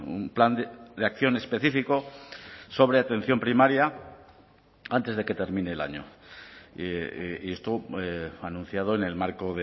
un plan de acción específico sobre atención primaria antes de que termine el año y esto anunciado en el marco